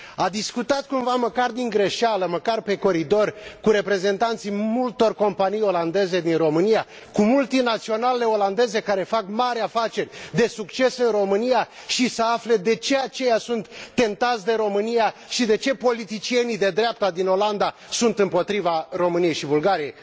A discutat cumva, măcar din greșeală, măcar pe coridor, cu reprezentanții multor companii olandeze din România, cu multinaționalele olandeze care fac mari afaceri de succes în România și să afle de ce aceia sunt tentați de România și de ce politicienii de dreapta din Olanda sunt împotriva României și Bulgariei?